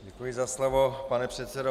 Děkuji za slovo, pane předsedo.